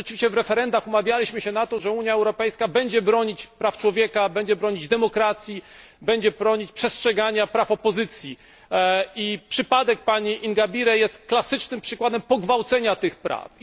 Otóż rzeczywiście w referendach umawialiśmy się na to, że Unia Europejska będzie bronić praw człowieka, będzie bronić demokracji, będzie bronić przestrzegania praw opozycji, i przypadek pani Ingabire jest klasycznym przykładem pogwałcenia tych praw.